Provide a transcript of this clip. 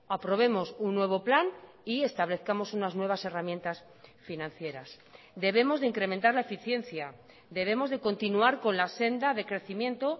aprobemos un nuevo plan y establezcamos unas nuevas herramientas financieras debemos de incrementar la eficiencia debemos de continuar con la senda de crecimiento